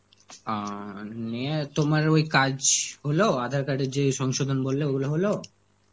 আঁ নিয়ে তোমার ওই কাজ হলো আধার card এর যে সংশোধন বললে, ওইগুলো হলো?